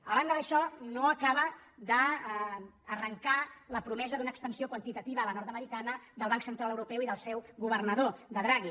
a banda d’això no acaba d’arrencar la promesa d’una expansió quantitativa a la nord·americana del banc central europeu i del seu governador de draghi